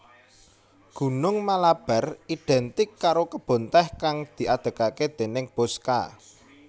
Gunung Malabar identik karo kebun tèh kang diadegaké déning Bosscha